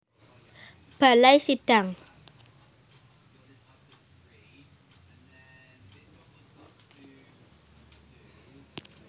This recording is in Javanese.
Balai Sidang